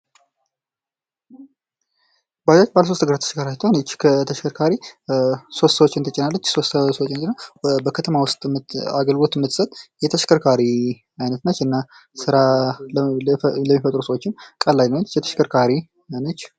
በጃጅ ባለ ሶስት እግር ተሽከርካሪ ስትሆን ሶስት ሰዎችን ትጭናለች። በከተማ ውስጥ አግልግሎት የምትሰጥ የተሽከርካሪ አይነት ናት። እና ስራ ለሚፈጥሩ ሰዎችም ቀለል ያለች ተሽከርካሪ ነች።